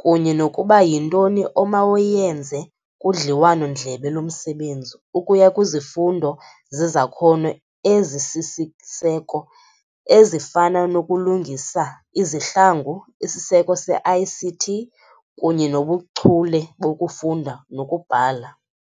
kunye nokuba yintoni omawuyenze kudliwano-ndlebe lomsebenzi, ukuya kwizifundo zezakhono ezisisiseko, ezifana nokulungisa izihlangu, isiseko se-ICT kunye nobuchule bokufunda nokubhala.